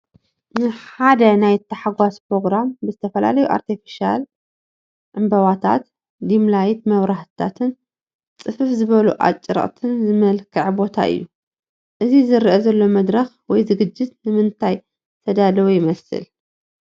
ንሓደ ናይ ታሕጓስ ኘሮግራም ብዝተፈላለዩ ኣርቴፊቫል ዕምበባታት፣ ዲምላይት መብራህትታትን ፅፍፍ ዝበሉ ኣጭርቕትን ዝመልክዐ ቦታ እዩ፡፡ እዚ ዝረአ ዘሎ መድረኽ ወይ ዝግጅት ንምንታይ ዝተዳለወ ይመስል?